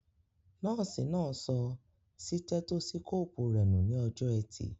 Nọ́ọ̀sì náà sọ sítẹ́tósíkóòpù rẹ nù ní ọjọ́ọ ẹtì